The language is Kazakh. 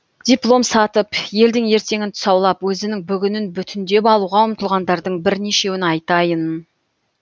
диплом сатып елдің ертеңін тұсаулап өзінің бүгінін бүтіндеп алуға ұмтылғандардың бірнешеуін айтайын